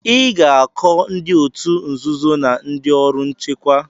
Ị ga-akọ ndị òtù nzuzo na ndị ọrụ nchekwa.